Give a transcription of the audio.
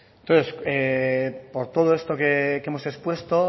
entonces por todo esto que hemos expuesto